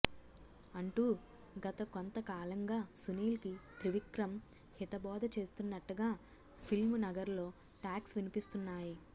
అంటూ గత కొంత కాలంగా సునీల్ కి త్రివిక్రమ్ హితబోధ చేస్తున్నట్టగా పిల్మ్ నగర్ లో టాక్స్ వినిపిస్తున్నాయి